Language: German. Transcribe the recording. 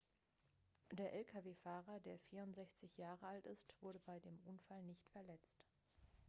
der lkw-fahrer der 64 jahre alt ist wurde bei dem unfall nicht verletzt